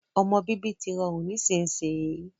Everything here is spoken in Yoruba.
Ọmọ bíbí tí rọrùn nísinsìnyi